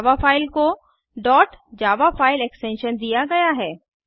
जावा file को dot Java file extension दिया गया है